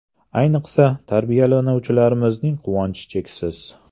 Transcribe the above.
Ayniqsa, tarbiyalanuvchilarimizning quvonchi cheksiz.